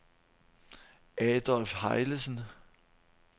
Adolf Hejlesen